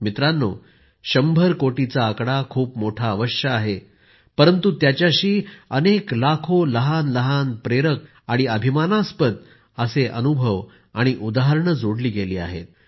मित्रांनो 100 कोटीचा आकडा खूप मोठा अवश्य आहे परंतु त्याच्याशी अनेक लाखो लहान लहान प्रेरक आणि अभिमानास्पद असे अनेक अनुभव उदाहरणं जोडली गेली आहेत